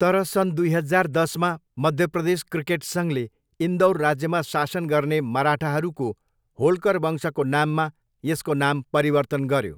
तर सन् दुई हजार दसमा, मध्यप्रदेश क्रिकेट सङ्घले इन्दौर राज्यमा शासन गर्ने मराठाहरूको होल्कर वंशको नाममा यसको नाम परिवर्तन गर्यो।